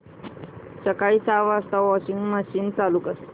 सकाळी सहा वाजता वॉशिंग मशीन चालू कर